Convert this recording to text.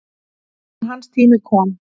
En hans tími kom.